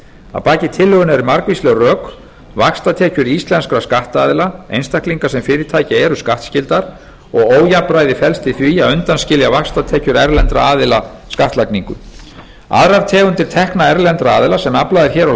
að baki tillögunni eru margvísleg rök vaxtatekjur íslenskra skattaðila einstaklinga sem fyrirtækja eru skattskyldar og ójafnræði felst í því að undanskilja vaxtatekjur erlendra aðila skattlagningu aðrar tegundir tekna erlendra aðila sem aflað er hér á